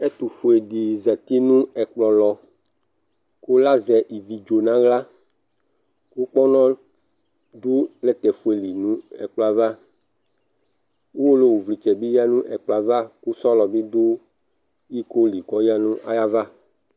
Ɛtufuedi zati nu ɛkplɔ lɔ ku lazɛ ivi dzo nawla ku kpɔnɔ du plɛtɛ fue li nu ɛkplɔ ava Ʊwolowu vlitsɛ bi du ɛkplɔ ava ku sɔlɔ du iko li kɔyadu nu ayava